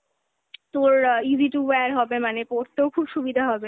তোর easy to wear হবে, মানে পোরতেও খুব সুবিধা হবে,